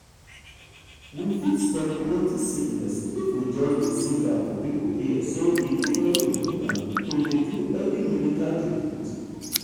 we fit stop plenty sickness if we just dey sing am for people ear say e dey very important to dey do early medical treatment.